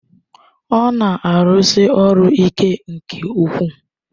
Ọ na-arụsi ọrụ ike nke ukwuu